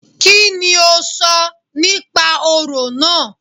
Kíni o sọ nípa orò náà?